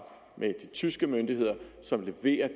med de tyske myndigheder som leverer